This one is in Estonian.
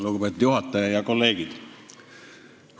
Lugupeetud juhataja ja kolleegid!